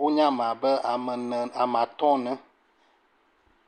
wonye ame abe ame ne ame atɔ̃ ene.